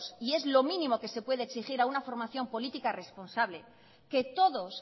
y es lo mínimos que se le puede exigir a una formación política responsable que todos